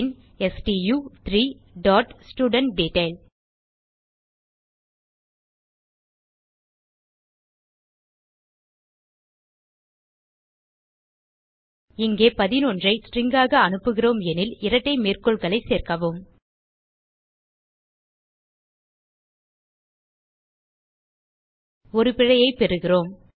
பின்Stu3 dot ஸ்டூடன்ட்டெட்டைல் இங்கே 11 ஐ Stringஆக அனுப்புகிறோம் எனில் இரட்டை மேற்கோள்களைச் சேர்க்கவும் ஒரு பிழையைப் பெறுகிறோம்